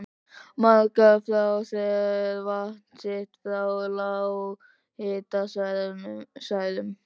Margar fá þær vatn sitt frá lághitasvæðum.